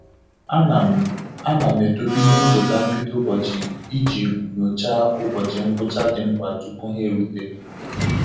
A na m A na m edobe ihe ncheta mbido ụbọchị iji nyochaa ụbọchị ngwụcha dị mkpa tupu ha erute.